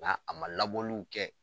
Nga a ma labɔliw kɛ